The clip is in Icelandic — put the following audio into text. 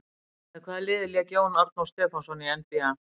Með hvaða liði lék Jón Arnór Stefánsson í NBA?